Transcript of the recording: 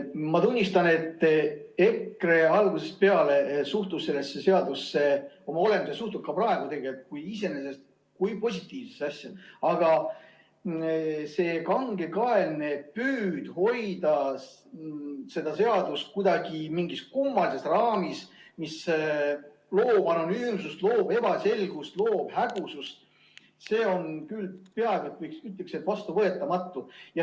Ma tunnistan, et EKRE suhtus algusest peale sellesse seadusesse, oma olemuselt suhtub ka praegu, tegelikult kui positiivsesse asja, aga see kangekaelne püüd hoida seda seadust kuidagi mingis kummalises raamis, mis loob anonüümsust, loob ebaselgust, loob hägusust, see on küll peaaegu vastuvõetamatu.